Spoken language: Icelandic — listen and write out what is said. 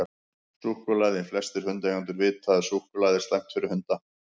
Súkkulaði: Flestir hundaeigendur vita að súkkulaði er slæmt fyrir hunda.